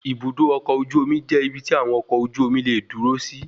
Ibùdó ọkọ̀ ojú omi jẹ́ ibi tí àwọn ọkọ ojú omi leè dúró si.